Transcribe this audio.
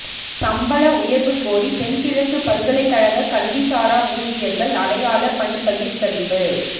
சம்பள உயர்வு கோரி தென்கிழக்கு பல்கலைக்கழக கல்வி சாரா ஊழியர்கள் அடையாள பணிப்பகிஸ்கரிப்பு